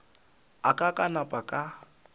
a ka ka napa ka